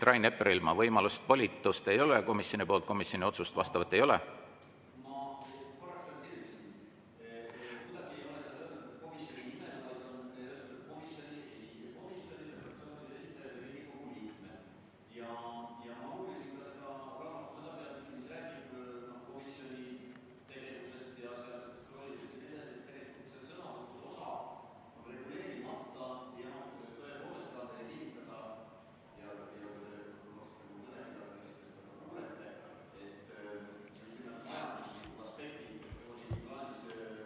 Rain Epleril volitust komisjonilt ei ole, komisjoni vastavat otsust ei ole.